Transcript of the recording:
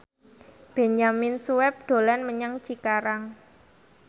Benyamin Sueb dolan menyang Cikarang